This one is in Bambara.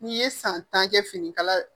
N'i ye san tan kɛ finikala